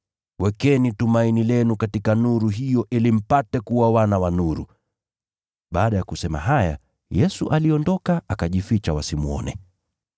Wekeni tumaini lenu katika nuru hiyo ili mpate kuwa wana wa nuru.” Baada ya kusema haya, Yesu aliondoka, akajificha wasimwone.